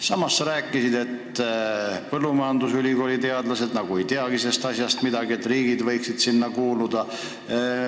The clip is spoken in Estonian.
Samas sa ütlesid, et põllumajandusülikooli teadlased ei teagi, et ka riik võiks olla lepinguosaline.